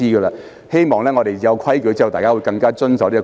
我希望在訂立規矩後，議員會更加守規。